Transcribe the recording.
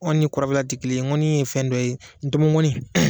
ni kɔrɔbara ti kelen ye ŋɔni ye fɛn dɔ ye ntomo mɔni